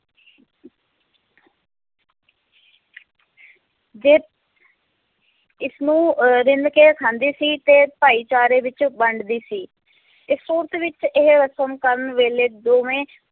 ਜੇ ਇਸਨੂੰ ਅਹ ਰਿੰਨ੍ਹ ਕੇ ਖਾਂਦੀ ਸੀ ਤੇ ਭਾਈਚਾਰੇ ਵਿੱਚ ਵੰਡਦੀ ਸੀ, ਇਹ ਸੂਰਤ ਵਿੱਚ ਇਹ ਰਸਮ ਕਰਨ ਵੇਲੇ ਦੋਵੇਂ